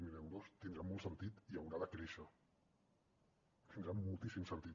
zero euros tindrà molt sentit i haurà de créixer tindrà moltíssim sentit